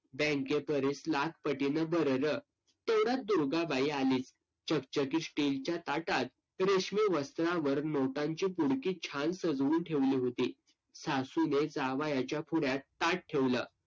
bank परीस लाख पटीनं बरं रं. तेवढ्यात दुर्गा बाई आली. चकचकीत steel च्या ताटात रेशमी वस्त्रांवर नोटांची पुडकी छान सजवून ठेवली होती. सासूने जावयाच्या पुढ्यात ताट ठेवलं.